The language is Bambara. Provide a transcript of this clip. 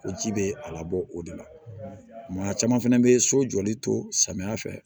O ji bɛ a labɔ o de la maa caman fɛnɛ bɛ so jɔli to samiya fɛ